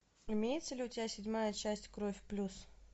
имеется ли у тебя седьмая часть кровь плюс